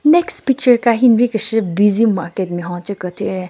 Next picture ka hi nri keshü busy market nme hon che kethyu.